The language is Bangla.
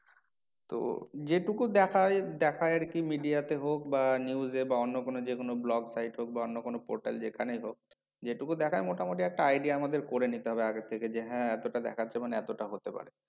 তো যে টুকু দেখা হয়, দেখা হয় আর কি media তে হোক বা news এ বা অন্য কোনো যে কোনো vlog site হোক বা অন্য কোনো portal যেখানেই হোক যে টুকু দেখায় মোটামুটি একটা idea আমাদের করে নিতে হবে আগে থেকে যে হ্যাঁ এতটা দেখাচ্ছে মানে এতটা হতে পারে।